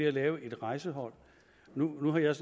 at lave et rejsehold nu har jeg